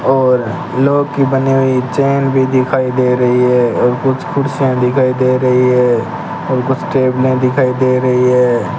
और लॉक की बने हुई चैन भी दिखाई दे रही है और कुछ कुर्सियां दिखाई दे रही है और कुछ टेबले दिखाई दे रही है।